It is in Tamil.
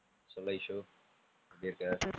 சொல்லு ஐசு எப்படி இருக்க?